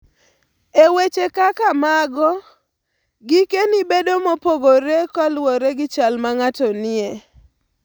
E weche kaka mago, gikeni bedo mopogore kaluwore gi chal ma ng'ato nie.